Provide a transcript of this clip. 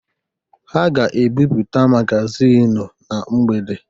Ha ga-ebipụta magazịn na mgbede.